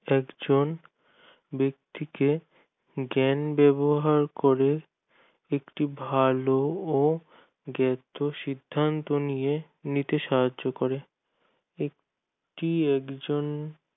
একজন ব্যাক্তিকে জ্ঞান ব্যবহার করে একটি ভালো ও দ্রুত সিদ্ধান্ত নিয়ে নিতে সাহায্য করে একটি একজন